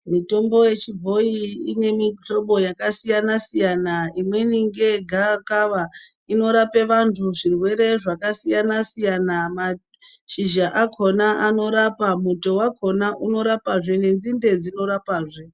Mitombo yechibhoyi ine mihlobo yakasiyana -siyana. Imweni ngeye gavakava inorape vantu zvirwere zvakasiyana -siyana mashizha akhona anorapa, muto wakhona unorapazve nenzinde dzinorapazve.